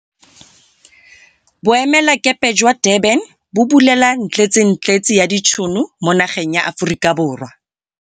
Boemelakepe jwa kwa Durban bo bulela ntletsentletse ya ditšhono mo nageng ya Aforika Borwa